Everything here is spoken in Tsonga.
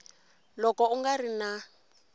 loko u nga ri na